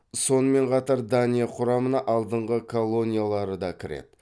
сонымен қатар дания құрамына алдыңғы колонияларыда кіреді